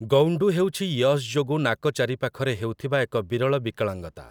ଗୌଣ୍ଡୁ ହେଉଛି ୟଅସ୍ ଯୋଗୁଁ ନାକ ଚାରିପାଖରେ ହେଉଥିବା ଏକ ବିରଳ ବିକଳାଙ୍ଗତା ।